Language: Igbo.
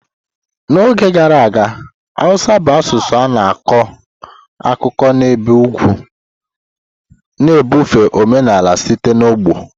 N'oge gara aga, Hausa bụ asụsụ a na-akọ akụkọ n'ebe ugwu, na-ebufe omenala site n'ọgbọ.